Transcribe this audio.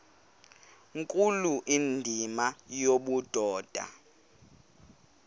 nkulu indima yobudoda